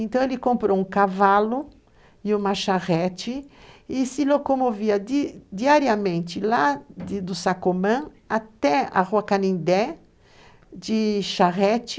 Então, ele comprou um cavalo e uma charrete e se locomovia diariamente lá do Sacomã até a Rua Canindé, de charrete.